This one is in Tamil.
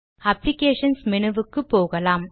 அப்ளிகேஷன்ஸ் மெனுவுக்கு போகலாம்